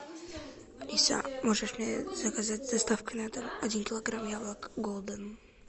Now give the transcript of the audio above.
алиса можешь мне заказать с доставкой на дом один килограмм яблок голден